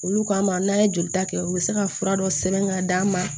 Olu kama n'an ye joli ta kɛ u be se ka fura dɔ sɛbɛn ka d'a ma